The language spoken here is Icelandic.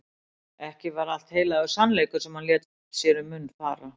Ekki var allt heilagur sannleikur sem hann lét sér um munn fara.